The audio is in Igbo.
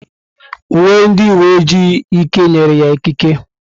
Uwe ndị uwe ojii Ike nyere ya ikike.